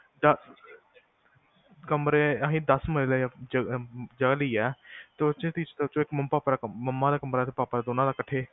ਕਮਰੇ ਆਹੀ ਦਸ ਮਰਲੇ ਜਗਾ ਲਈਆਂ ਤੇ ਉਹਦੇ ਚ ਮੰਮਾ ਦਾ ਕਮਰਾ ਤੇ ਪਾਪਾ ਦਾ ਦੋਨਾਂ ਦਾ ਇਕੱਠੇ double story